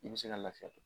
I bɛ se ka lafiya